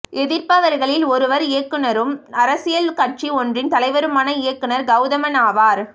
எதிர்ப்பவர்களில் ஒருவர் இயக்குனரும் அரசியல் கட்சி ஒன்றின் தலைவருமான இயக்குனர் கவுதமன் ஆவார்